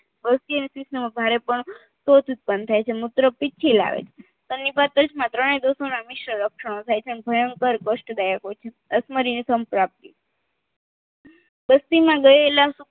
ભારે પણ તો જ ઉતપન્ન થાય છે મૂત્ર પિત્તથી લાવે છે માં ત્રણે દોસો ના મિશ્ર લક્ષણો થાય છે અને ભયંકર કસ્ટદાયક હોય છે અસમારીની સમપ્રાપ્તિ